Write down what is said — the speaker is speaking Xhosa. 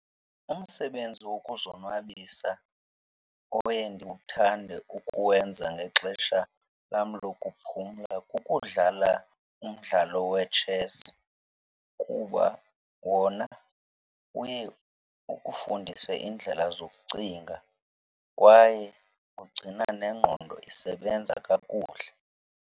Umsebenzi wokuzonwabisa oye ndiwuthande ukuwenza ngexesha lam lokuphumla kukudlala umdlalo wetshesi kuba wona uye ukufundise iindlela zokucinga kwaye ugcina nengqondo isebenza kakuhle.